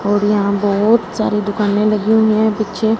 और यहां बहोत सारी दुकानें लगी हुई है पीछे--